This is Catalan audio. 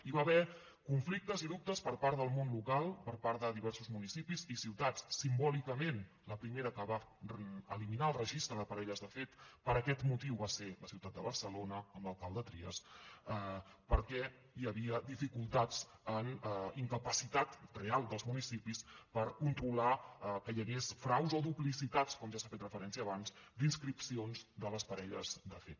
hi va haver conflictes i dubtes per part del món local per part de diversos municipis i ciutats simbòlicament la primera que va eliminar el registre de parelles de fet per aquest motiu va ser la ciutat de barcelona amb l’alcalde trias perquè hi havia dificultats en incapacitat real dels municipis per controlar que hi hagués fraus o duplicitats com ja s’hi ha fet referència abans en inscripcions de les parelles de fet